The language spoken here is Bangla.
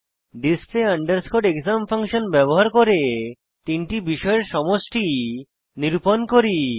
ডিসপ্লে আন্ডারস্কোর এক্সাম ফাংশন ব্যবহার করে তিনটি বিষয়ের সমষ্টি নিরূপণ করি